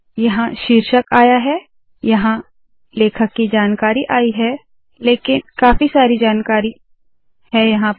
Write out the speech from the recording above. यहाँ शीर्षक आया है यहाँ लेखक की जानकारी आई है लेकिन बहुत सारी जानकारी आ रही है